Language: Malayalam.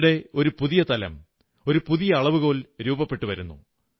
ഈയിടെ ഒരു പുതിയ തലം പുതിയ അളവുകോൽ രൂപപ്പെട്ടു വരുന്നു